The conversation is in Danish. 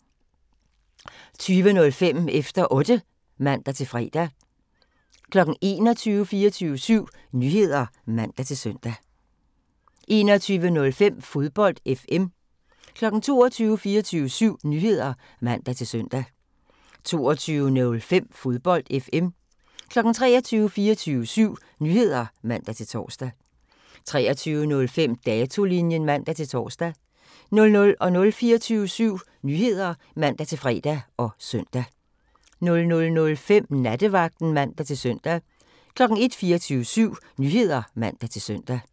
20:05: Efter Otte (man-fre) 21:00: 24syv Nyheder (man-søn) 21:05: Fodbold FM 22:00: 24syv Nyheder (man-søn) 22:05: Fodbold FM 23:00: 24syv Nyheder (man-søn) 23:05: Datolinjen (man-tor) 00:00: 24syv Nyheder (man-fre og søn) 00:05: Nattevagten (man-søn) 01:00: 24syv Nyheder (man-søn)